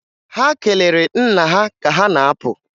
Ha kelere nna ha ka ha na-apụ.